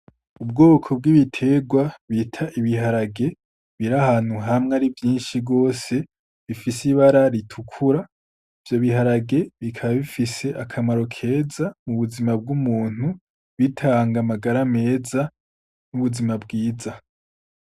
Ubwoko bw'ibiterwa bita ibiharage, bir'ahantu hamwe ari vyinshi gose bifise ibara ritukura, ivyo biharage bikaba bifise akamaro keza mu buzima bw'umuntu bitanga amagara meza n'ubuzima bwiza.